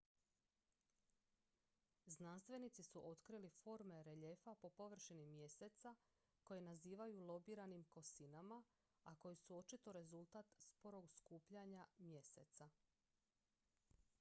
znanstvenici su otkrili forme reljefa po površini mjeseca koje nazivaju lobiranim kosinama a koje su očito rezultat sporog skupljanja mjeseca